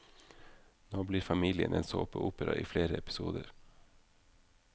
Nå blir familien en såpeopera i flere episoder.